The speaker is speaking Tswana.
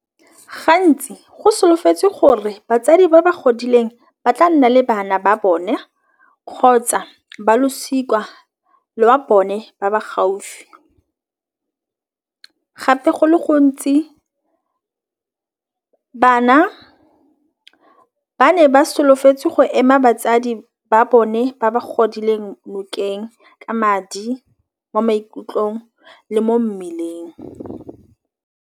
Gantsi go solofetse gore batsadi ba godileng ba tla nna le bana ba bone kgotsa ba losika bone ba ba gaufi. Gape go le gontsi bana ba ne ba solofetse go ema batsadi ba bone ba ba godileng nokeng ka madi mo maikutlong le mo mmeleng.